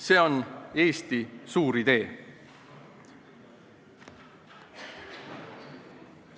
See on Eesti suur idee.